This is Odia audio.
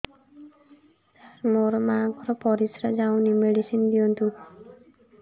ସାର ମୋର ମାଆଙ୍କର ପରିସ୍ରା ଯାଉନି ମେଡିସିନ ଦିଅନ୍ତୁ